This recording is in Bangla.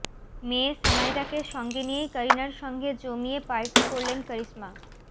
মেয়ে সামাইরাকে সঙ্গে নিয়েই করিনার সঙ্গে জমিয়ে পার্টি করলেন করিশ্মা